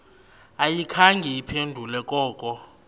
ayikhange iphendule koko